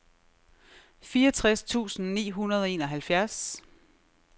fireogtres tusind ni hundrede og enoghalvfjerds